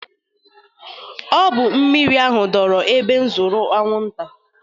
Ọ bụ mmiri ahụ doro otu ebe zụru anwụnta